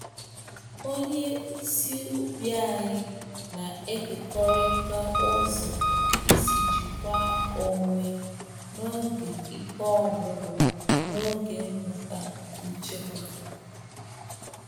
Onye isi ubi anyị na-ekekọrịta ụzọ isi jikwa onwe n'oge ike ọgwụgwụ n’oge mmụta nchekwa.